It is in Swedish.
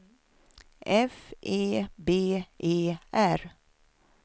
F E B E R